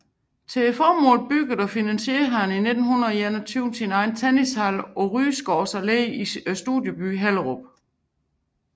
Til formålet byggede og finansierede han i 1921 sin egen tennishal på Rygårds Allé i Studiebyen i Hellerup